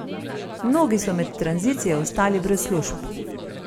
Mnogi so med tranzicijo ostali brez služb.